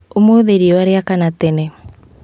Ũmũthĩ riũa riakana tene